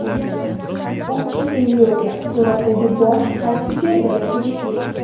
Optik illyuziya: Suratdagi bosh qaysi zebraga tegishli?.